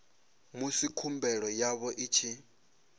musi khumbelo yavho i tshi